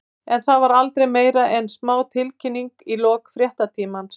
En það var aldrei meira en smá tilkynning í lok fréttatímans.